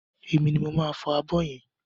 Emi ni mò ń fọ abọ́ yẹn.